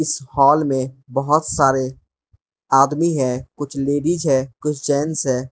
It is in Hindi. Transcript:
इस हॉल मे बहोत सारे आदमी है कुछ लेडिस है कुछ जेंट्स है।